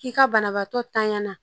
K'i ka banabaatɔ tanya